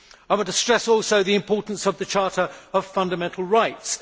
I would stress, also, the importance of the Charter of Fundamental Rights.